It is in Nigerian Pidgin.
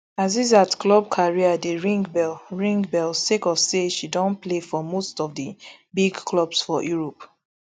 asisat club career dey ring bell ring bell sake of say she don play for most of di big clubs for europe